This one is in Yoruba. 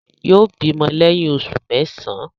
Yóò bímọ lẹ́yìn oṣù mẹ́sàán.